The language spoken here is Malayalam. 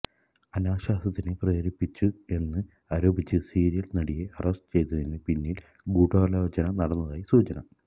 അനാശാസ്യത്തിന് പ്രേരിപ്പിച്ചു എന്ന് ആരോപിച്ച് സീരിയല് നടിയെ അറസ്റ്റു ചെയ്തതിന് പിന്നില് ഗൂഢാലോചന നടന്നതായി സൂചന